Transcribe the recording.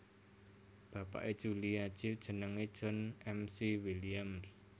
Bapake Julia Child jenenge John McWilliams